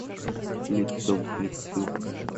лицом к лицу